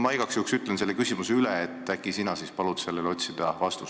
Ma igaks juhuks küsin nüüd üle ja äkki siis sina palud sellele vastuse anda.